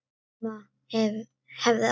Mamma hefði aldrei.